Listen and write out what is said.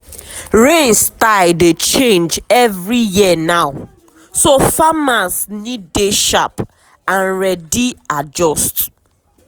rain style dey change every year now so farmers need dey sharp and ready adjust.